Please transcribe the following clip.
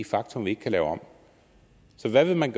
faktum vi ikke kan lave om så hvad vil man